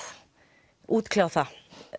útkljá það